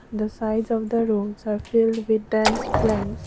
the size of the roads are filled with an plants.